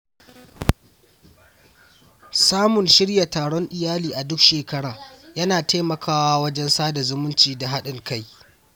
Samun shirya taron iyali a duk shekara yana taimakawa wajen sada zumunci da haɗin kai.